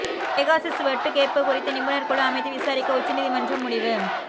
Pegasus ஒட்டுக்கேட்பு குறித்து நிபுணர் குழு அமைத்து விசாரிக்க உச்சநீதிமன்றம் முடிவு